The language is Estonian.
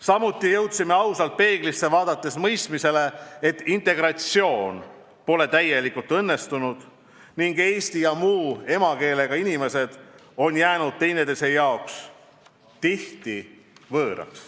Samuti oleme ausalt peeglisse vaadates jõudnud mõistmisele, et integratsioon pole täielikult õnnestunud ning eesti ja muu emakeelega inimesed tunnevad tihtipeale, et on üksteisele võõrad.